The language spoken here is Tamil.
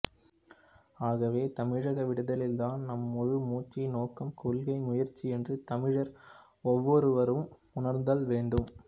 ஆகவே தமிழக விடுதலைதான் நம் முழு மூச்சு நோக்கம் கொள்கை முயற்சி என்று தமிழர் ஒவ்வொருவரும் உணர்தல் வேண்டும்